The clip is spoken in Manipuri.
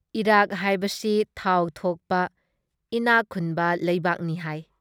ꯏꯔꯥꯛ ꯍꯥꯏꯕꯁꯤ ꯊꯥꯎ ꯊꯣꯛꯄ ꯏꯅꯥꯛ ꯈꯨꯟꯕ ꯂꯩꯕꯥꯛꯅꯤ ꯍꯥꯏ ꯫